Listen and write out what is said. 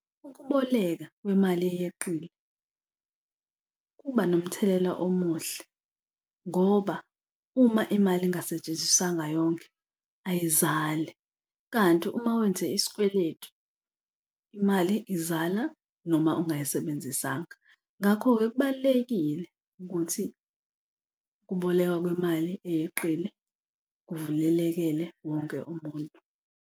Ukuboleka kwemali eyeqile kuba nomthelela omuhle ngoba uma imali ingasetshenziswanga yonke ayizali kanti uma wenze isikweletu imali izala noma ungayisebenzisanga. Ngakho-ke kubalulekile ukuthi ukubolekwa kwemali eyeqile kuvulelekele wonke umuntu.